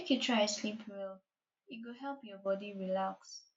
make you try sleep well e go help your bodi relax